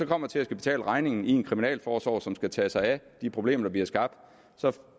kommer til at betale regningen i en kriminalforsorg som skal tage sig af de problemer der bliver skabt så